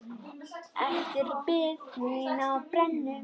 Eftir bið mína á brennu.